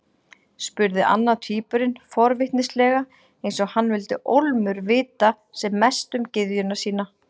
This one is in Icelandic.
spurði annar tvíburinn forvitnislega, eins og hann vildi ólmur vita sem mest um gyðjuna sína.